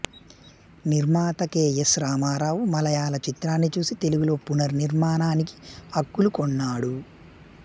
నిర్మాత K S Ramarao మలయాళ చిత్రాన్ని చూసి తెలుగులో పునర్నిర్మాణానికి హక్కులు కొన్నాడు